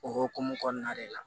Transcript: O hokumu kɔnɔna de la